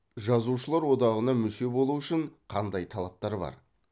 жазушылар одағына мүше болу үшін қандай талаптар бар